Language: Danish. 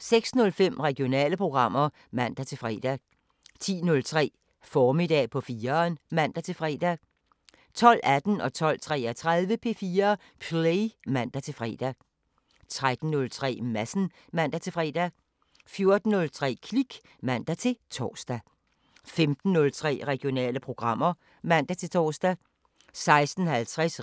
06:05: Regionale programmer (man-fre) 10:03: Formiddag på 4'eren (man-fre) 12:18: P4 Play (man-fre) 12:33: P4 Play (man-fre) 13:03: Madsen (man-fre) 14:03: Klik (man-tor) 15:03: Regionale programmer (man-tor) 16:50: